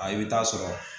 A i bɛ taa sɔrɔ